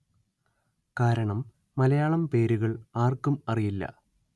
കാരണം മലയാളം പേരുകള്‍ ആര്‍ക്കും അറിയില്ല